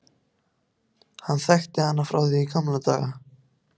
Hann þekkti hana frá því í gamla daga.